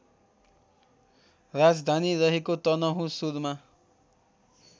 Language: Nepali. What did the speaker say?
राजधानी रहेको तनहुँसुरमा